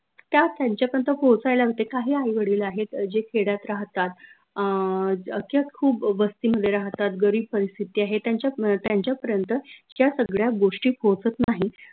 त्या त्यांच्या पर्यंत पोहोचायला होत्या काही आई वडील आहेत जे खेड्यात राहतात अं अश्या खूप वस्तीमध्ये राहतात गरीब परिस्थिती आहे त्याच्या पर्यंत त्यांच्या पर्यंत ज्या सगळ्या गोष्टी पोहोचत नाहीत